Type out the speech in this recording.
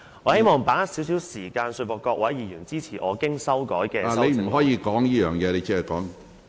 我希望把握現在少許時間，說服各位議員支持我經修改的修正案。